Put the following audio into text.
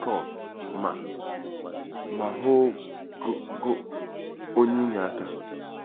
Scott: Ma: Ma ho g g « onye inyeaka.